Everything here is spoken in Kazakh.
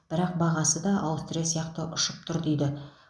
бірақ бағасы да аустрия сияқты ұшып тұр дейді